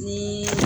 Ni